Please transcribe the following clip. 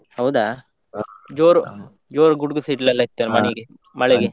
ಹೌದಾ! ಜೋರು ಜೋರ್ ಗುಡುಗು ಸಿಡಿಲೆಲ್ಲಾ ಇತ್ತಲ್ಲ ಮನೆಗೆ ಮಳೆಗೆ.